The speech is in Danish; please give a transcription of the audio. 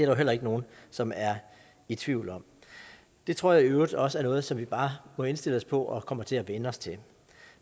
jo heller ikke nogen som er i tvivl om det tror jeg i øvrigt også er noget som vi bare må indstille os på og kommer til at vænne os til